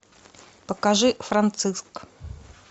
покажи франциск